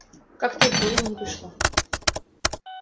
как-то и в голову не пришло